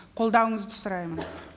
қолдауыңызды сұраймын